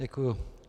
Děkuji.